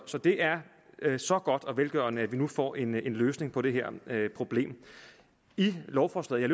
så det er så godt og velgørende at vi nu får en løsning på det her problem i lovforslaget